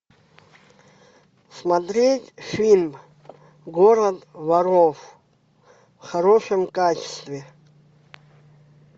смотреть фильм город воров в хорошем качестве